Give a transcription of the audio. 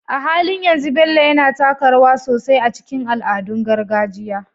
A halin yanzu, Bello yana taka rawa sosai a cikin al'adun gargajiya